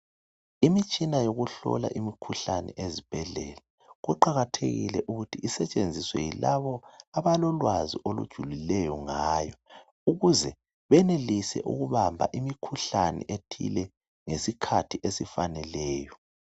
Imitshina yokuhlola imikhuhlane ezibhedlela, kuqakathekile ukuthi isetshenziswe yilabo abalolwazi olujulileyo ngayo ukuze benelise ukubamba imikhuhlane ethile ngesikhathi esifaneleyo.